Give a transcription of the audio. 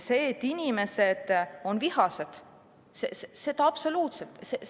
See, et inimesed on vihased, on absoluutselt!